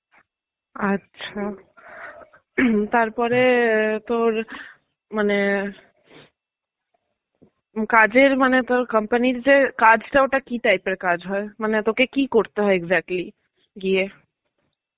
আচ্ছা. তারপরে আ তোর মানে কাজের মানে তোর company র যে কাজ টা ওটা কি type এর কাজ হয়? মানে তোকে কি করতে হয় exatly গিয়ে?